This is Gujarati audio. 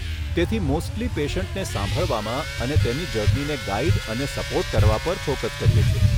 તેથી મોસ્ટલી પેશન્ટને સાંભળવામાં અને તેની જર્નીને ગાઈડ અને સપોર્ટ કરવા પર ફોકસ કરીએ છીએ.